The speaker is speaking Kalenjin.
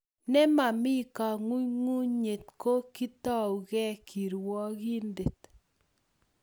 nemami kang'unyng'unye, ko kitoeku kirwokindet